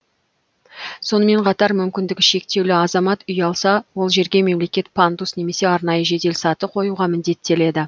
сонымен қатар мүмкіндігі шектеулі азамат үй алса ол жерге мемлекет пандус немесе арнайы жеделсаты қоюға міндеттеледі